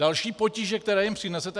Další potíže, které jim přinese.